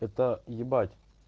это е